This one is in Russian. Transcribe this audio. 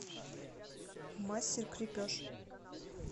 мастер крепеж